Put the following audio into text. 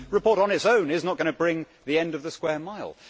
But this report on its own is not going to bring the end of the Square Mile.